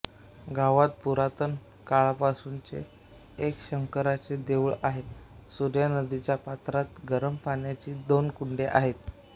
गावात पुरातन काळापासूनचे एक शंकराचे देऊळ आहे सूर्या नदीच्या पात्रात गरम पाण्याची दोन कुंडे आहेत